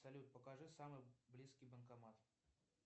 салют покажи самый близкий банкомат